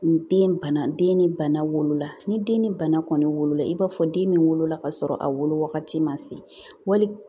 Den bana den ni bana wolola ni den ni bana kɔni wolola i b'a fɔ den min wolola kasɔrɔ a wolo wagati ma se wali